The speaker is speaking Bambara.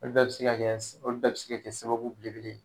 Olu bɛɛ bɛ se ka kɛ olu bɛɛ bɛ se ka kɛ sababu belebele ye.